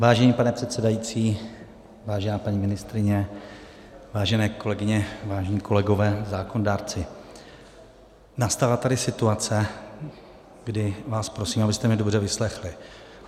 Vážený pane předsedající, vážená paní ministryně, vážené kolegyně, vážení kolegové, zákonodárci, nastává tady situace, kdy vás prosím, abyste mě dobře vyslechli.